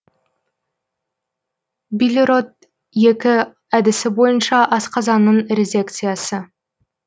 бильрот екі әдісі бойынша асқазанның резекциясы